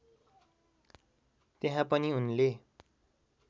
त्यहाँ पनि उनले